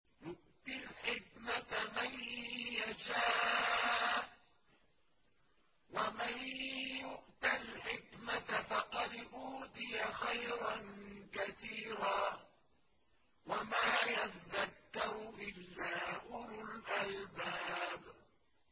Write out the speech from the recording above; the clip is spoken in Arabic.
يُؤْتِي الْحِكْمَةَ مَن يَشَاءُ ۚ وَمَن يُؤْتَ الْحِكْمَةَ فَقَدْ أُوتِيَ خَيْرًا كَثِيرًا ۗ وَمَا يَذَّكَّرُ إِلَّا أُولُو الْأَلْبَابِ